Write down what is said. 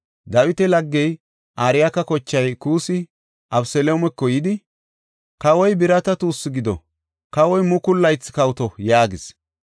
Dawita laggey Arkaya kochay Kuussi Abeseloomeko yidi, “Kawoy birata tuussu gido! Kawoy mukulu laythi kawoto!” yaagis.